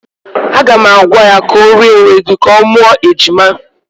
Aga m agwa ya ka o rie ewedu ka ọ mụọ ejima.